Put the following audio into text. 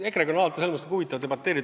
EKRE-ga on alati huvitav debateerida.